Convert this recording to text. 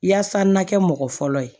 Yaasa n ka kɛ mɔgɔ fɔlɔ ye